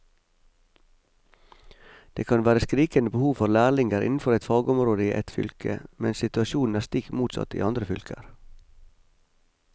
Det kan være skrikende behov for lærlinger innenfor et fagområde i ett fylke, mens situasjonen er stikk motsatt i andre fylker.